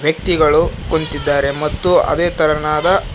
ವ್ಯಕ್ತಿಗಳು ಕುಂತಿದ್ದಾರೆ ಮತ್ತು ಅದೇ ತರನಾದ--